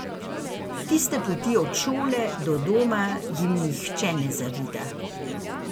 Tiste poti od šole do doma jim nihče ne zavida.